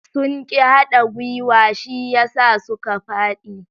Sun ƙi hada gwuiwa shi yasa suka faɗi.